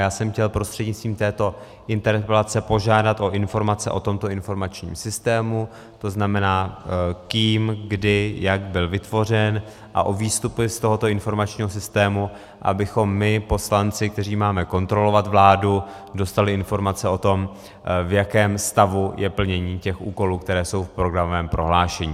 Já jsem chtěl prostřednictvím této interpelace požádat o informace o tomto informačním systému, to znamená, kým, kdy, jak byl vytvořen, a o výstupy z tohoto informačního systému, abychom my poslanci, kteří máme kontrolovat vládu, dostali informace o tom, v jakém stavu je plnění těch úkolů, které jsou v programovém prohlášení.